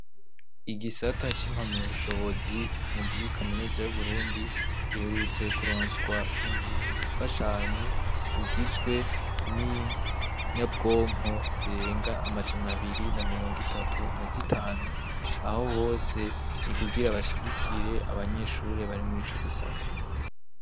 Igisata cimpamya bushobozi muri kaminuza yuburundi giherutse kuronswa imfashanyo igizwe ninyabwonko zirenga amajana abiri na mirongo itatu na zitanu aho hose ni kugira bashigikire abanyeshure bari murico gisata.